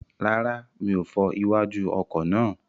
Rárá, mi ò fọ iwájú ọkọ̀ náà.